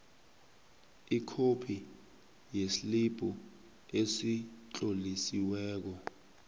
ikhophi yeslibhu esitlolisiweko